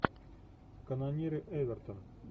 канониры эвертон